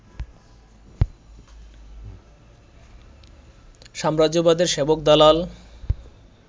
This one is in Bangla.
সাম্রাজ্যবাদের সেবক-দালাল